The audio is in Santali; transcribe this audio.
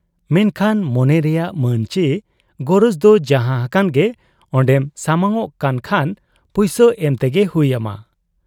ᱢᱮᱱᱠᱷᱟᱱ ᱢᱚᱱᱮ ᱨᱮᱭᱟᱜ ᱢᱟᱹᱱ ᱪᱤ ᱜᱚᱨᱚᱡᱽ ᱫᱚ ᱡᱟᱦᱟᱸ ᱦᱟᱠᱟᱱ ᱜᱮ ᱚᱱᱰᱮᱢ ᱥᱟᱢᱟᱝᱚᱜ ᱠᱟᱱ ᱠᱷᱟᱱ ᱯᱩᱭᱥᱟᱹ ᱮᱢ ᱛᱮᱜᱮ ᱦᱩᱭ ᱟᱢᱟ ᱾